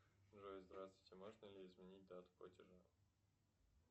джой здравствуйте можно ли изменить дату платежа